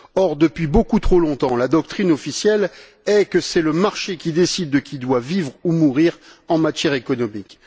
Or, depuis beaucoup trop longtemps, la doctrine officielle est que c'est le marché qui décide de qui doit vivre ou mourir en matière économique.